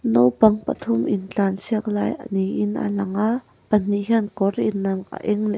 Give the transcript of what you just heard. naupang pathum intlansiak lai ni in a lang a pahnih hian kawr in ang a eng leh a--